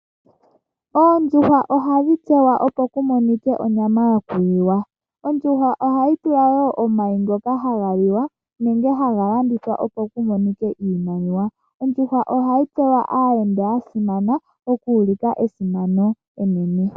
Oondjuhwa ohadhi munwa opo kumonike onyama yo kuliwa. Ondjuhwa ohayi tupe woo omayi ngoka haga liwa nenge haga landithwa opo ku monike iimaliwa. Ondjuhwa ohayi pewa aayenda ya simana oku ulika esimano enene.